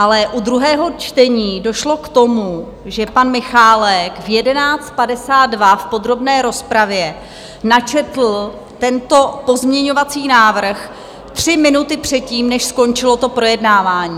Ale u druhého čtení došlo k tomu, že pan Michálek v 11.52 v podrobné rozpravě načetl tento pozměňovací návrh tři minuty předtím, než skončilo to projednávání.